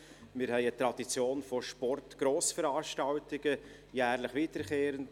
Wir haben eine Tradition von Sportgrossveranstaltungen, jährlich wiederkehrend.